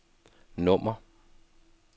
nummer